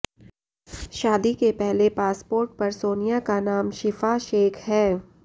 शादी के पहले पासपोर्ट पर सोनिया का नाम शिफा शेख है